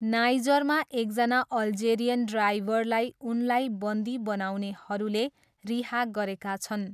नाइजरमा एकजना अल्जेरियन ड्राइभरलाई उनलाई बन्धी बनाउनेहरूले रिहा गरेका छन्।